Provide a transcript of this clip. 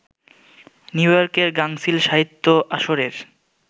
নিউইয়র্কের গাঙচিল সাহিত্য আসরের